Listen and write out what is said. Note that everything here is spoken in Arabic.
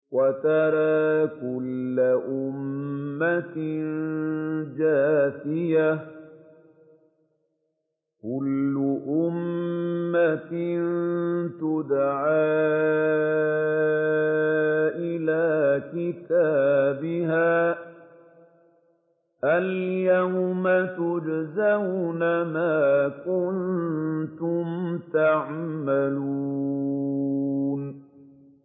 وَتَرَىٰ كُلَّ أُمَّةٍ جَاثِيَةً ۚ كُلُّ أُمَّةٍ تُدْعَىٰ إِلَىٰ كِتَابِهَا الْيَوْمَ تُجْزَوْنَ مَا كُنتُمْ تَعْمَلُونَ